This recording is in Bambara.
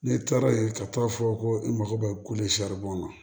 Ne taara yen ka t'a fɔ ko e mako bɛ ko le ma